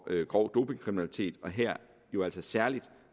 grov dopingkriminalitet og her jo altså særlig